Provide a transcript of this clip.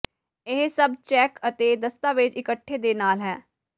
ਇਹ ਸਭ ਚੈੱਕ ਅਤੇ ਦਸਤਾਵੇਜ਼ ਇਕੱਠੇ ਦੇ ਨਾਲ ਹੈ